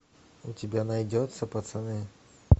у тебя найдется пацаны